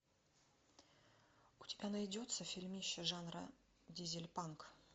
у тебя найдется фильмище жанра дизельпанк